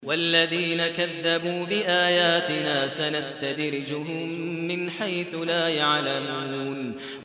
وَالَّذِينَ كَذَّبُوا بِآيَاتِنَا سَنَسْتَدْرِجُهُم مِّنْ حَيْثُ لَا يَعْلَمُونَ